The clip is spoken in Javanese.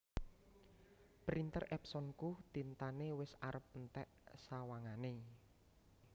Printer Epsonku tintane wes arep e entek sawangane